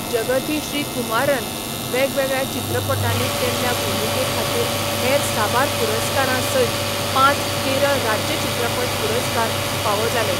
जगथी श्रीकुमारान वेगवेगळ्या चित्रपटांनी केल्ल्या भुमिके खातीर हेर साबार पुरस्कारां सयत पांच केरळ राज्य चित्रपट पुरस्कार फावो जाले.